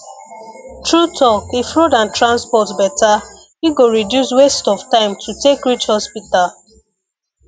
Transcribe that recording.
true talk if road and transport better e go reduce waste of time to take reach hospital